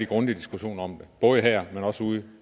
grundig diskussion om det både her og ude